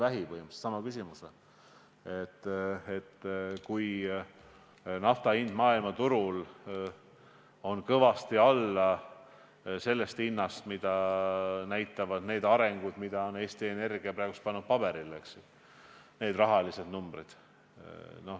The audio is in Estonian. Ta esitas põhimõtteliselt sama küsimuse, viidates võimalusele, et nafta hind võib olla maailmaturul kõvasti väiksem kui see, mida näitavad need numbrid, mille Eesti Energia on praegu paberile pannud.